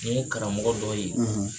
Mun karamɔgɔ dɔ ye